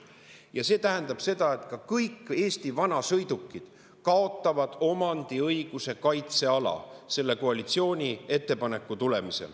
Ja see tähendab seda, et ka kõik Eesti vanasõidukid kaotavad omandiõiguse kaitseala selle koalitsiooni ettepaneku tulemusel.